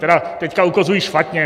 Tedy teď ukazuji špatně.